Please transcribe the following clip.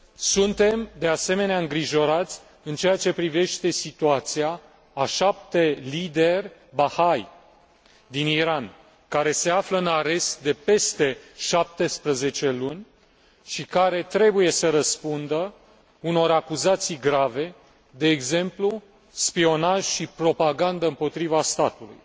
Suntem, de asemenea, îngrijorați în ceea ce privește situația a șapte lideri Baha'i din Iran, care se află în arest de peste șaptesprezece luni și care trebuie să răspundă unor acuzații grave, de exemplu spionaj și propagandă împotriva statului.